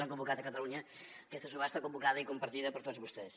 han convocat a catalunya aquesta subhasta convocada i compartida per tots vostès